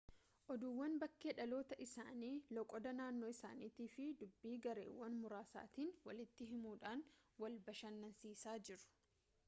oduuwwan bakkee dhaloota isaanii loqoda naannoo isaaniitii fi dubbii gareewwan muraasaatiin walitti himuudhaan wal bashannansiisaa jiru